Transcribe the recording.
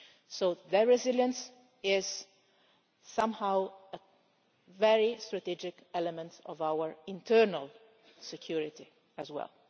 So their resilience is somehow a very strategic element of our internal security as well.